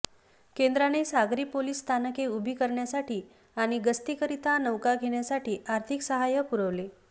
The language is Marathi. केंद्राने सागरी पोलीस स्थानके उभी करण्यासाठी आणि गस्तीकरिता नौका घेण्यासाठी आर्थिक सहाय्य पुरवले